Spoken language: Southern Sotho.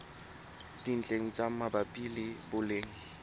dintlheng tse mabapi le boleng